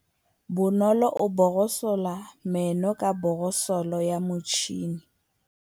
Bonolô o borosola meno ka borosolo ya motšhine.